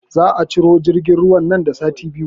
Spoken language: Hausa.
Za a ciro jirgin ruwan nan da sati biyu